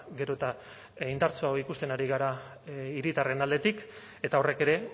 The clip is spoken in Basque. gero eta indartsuagoa ikusten ari gara hiritarren aldetik eta horrek ere